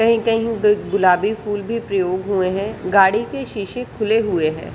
कही कही गुलाबी फुल भी प्रयोग हुए है गाड़ी के शीशे खुले हुए है।